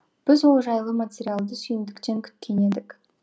біз ол жайлы материалды сүйіндіктен күткен едік